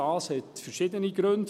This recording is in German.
Dies hat verschiedene Gründe;